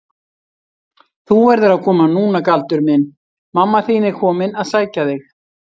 Þú verður að koma núna Galdur minn, mamma þín er komin að sækja þig.